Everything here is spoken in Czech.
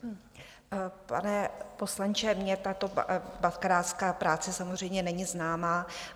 Pane poslanče, mně tato bakalářská práce samozřejmě není známa.